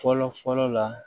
Fɔlɔ fɔlɔ la